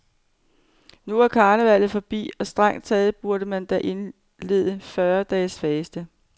Nu er karnevallet forbi, og strengt taget burde man da indlede fyrre dages faste.